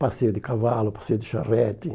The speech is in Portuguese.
Passeio de cavalo, passeio de charrete.